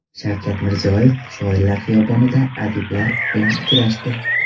Shavkat Mirziyoyev Shoirlar xiyobonida adiblar bilan uchrashdi.